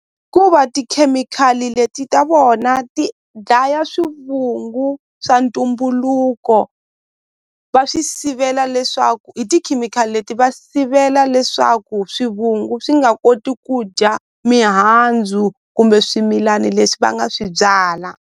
tikhemikhali leti ta vona ti dlaya swivungu swa ntumbuluko va swi sivela leswaku hi tikhemikhali leti va sivela leswaku swivungu swi nga koti ku dya mihandzu kumbe swimilani leswi va nga swi byala.